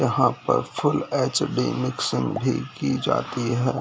यहाँ पर full HD. Mixing भी की जाती है।